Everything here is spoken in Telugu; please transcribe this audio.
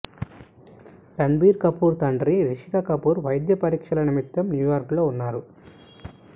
రణ్ బీర్ కపూర్ తండ్రి రిషికపూర్ వైద్య పరీక్షల నిమిత్తం న్యూయార్క్ లో వున్నారు